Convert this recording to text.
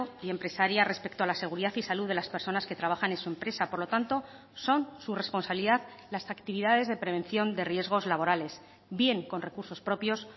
y empresaria respecto a la seguridad y salud de las personas que trabajan en su empresa por lo tanto son su responsabilidad las actividades de prevención de riesgos laborales bien con recursos propios